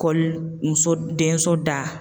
muso denso da.